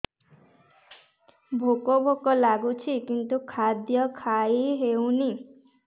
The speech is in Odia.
ଭୋକ ଭୋକ ଲାଗୁଛି କିନ୍ତୁ ଖାଦ୍ୟ ଖାଇ ହେଉନି